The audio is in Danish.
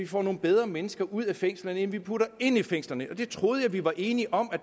får nogle bedre mennesker ud af fængslerne end vi putter ind i fængslerne og det troede jeg vi var enige om